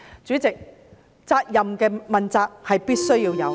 主席，問責是必須的。